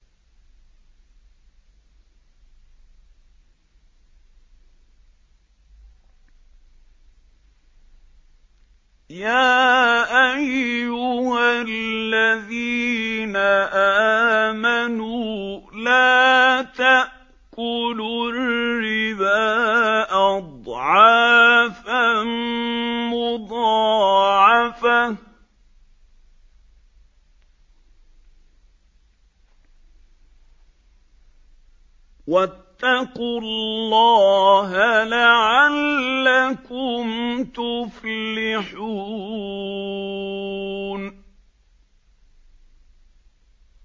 يَا أَيُّهَا الَّذِينَ آمَنُوا لَا تَأْكُلُوا الرِّبَا أَضْعَافًا مُّضَاعَفَةً ۖ وَاتَّقُوا اللَّهَ لَعَلَّكُمْ تُفْلِحُونَ